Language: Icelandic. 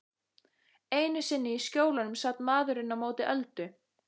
Einu sinni í Skjólunum sat maðurinn á móti Öldu.